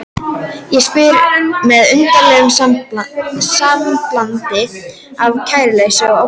Og spyr með undarlegu samblandi af kæruleysi og ótta